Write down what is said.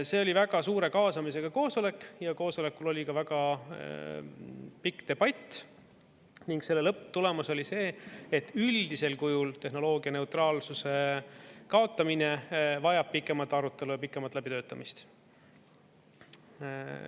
See oli väga suure kaasamisega koosolek, koosolekul oli väga pikk debatt ning selle lõpptulemus oli see, et üldisel kujul tehnoloogia neutraalsuse kaotamine vajab pikemat arutelu ja pikemat läbitöötamist.